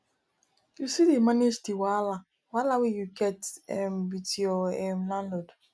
you still dey manage di wahala wahala wey you get um with your um landlord